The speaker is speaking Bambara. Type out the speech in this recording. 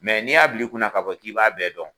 n'i y'a bila i kunna ka fɔ k'i b'a bɛɛ dɔn